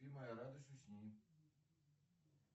спи моя радость усни